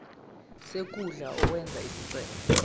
sikhundla owenze isicelo